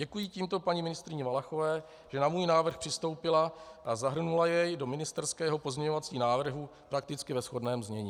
Děkuji tímto paní ministryni Valachové, že na můj návrh přistoupila a zahrnula jej do ministerského pozměňovacího návrhu prakticky ve shodném znění.